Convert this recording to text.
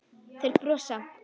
Þeir brosa.